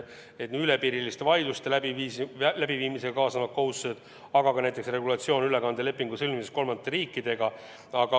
Piiriüleste vaidluste läbiviimisega kaasnevad kohustused, aga on ka näiteks regulatsioon ülekandelepingu sõlmimiseks kolmandate riikidega.